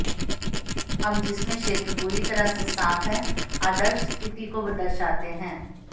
हम जिसमें क्षेत्र पूरी तरह से साफ है आदर्श स्थिति को दर्शाते हैं